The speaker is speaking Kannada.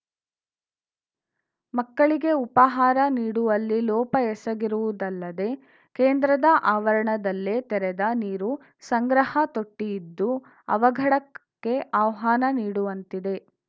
ಮಕ್ಕಳಿಗೆ ಉಪಾಹಾರ ನೀಡುವಲ್ಲಿ ಲೋಪ ಎಸಗಿರುವುದಲ್ಲದೇ ಕೇಂದ್ರದ ಆವರಣದಲ್ಲೇ ತೆರೆದ ನೀರು ಸಂಗ್ರಹ ತೊಟ್ಟಿಇದ್ದು ಅವಘಡಕ್ಕೆ ಆಹ್ವಾನ ನೀಡುವಂತಿದೆ